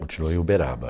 Continua em Uberaba.